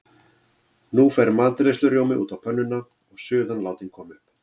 Nú fer matreiðslurjómi út á pönnuna og suðan látin koma upp.